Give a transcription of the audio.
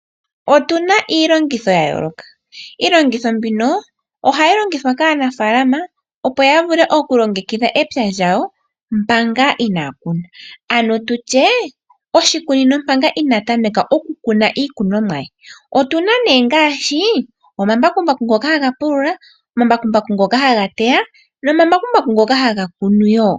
Otu na iilongitho ya yooloka. Iilongitho mbino ohayi longithwa kaanafaalama, opo ya vule okulongekidha epya lyawo manga inaaya kuna, ano tu tye oshikunino manga inaa kuna iikunomwa ye. Otu na ngaashi omambakumbaku ngoka haga pulula, omambakumbaku ngoka haga teya nomambakumbaku ngoka haga kunu wo.